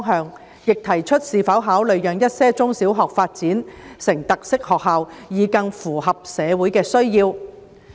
事務委員會並提出是否考慮讓一些中小學發展成特色學校，以更符合社會的需要。